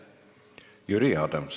Jüri Adams.